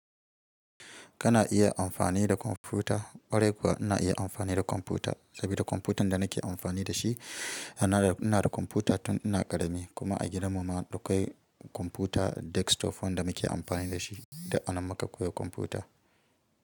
Kana iya amfani da kwamfuta, ƙwarai kuwa ina iya amfani da kwamfuta sabida kwamfutan da nake amfani da shi. Ina da kwamfuta tun ina ƙarami kuma a gidan mu ma dakwai kwamfuta desktop wanda muke amfani da shi duk anan muka koyi kwamfuta.